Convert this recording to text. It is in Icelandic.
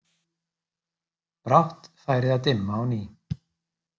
Brátt færi að dimma á ný.